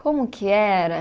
Como que era?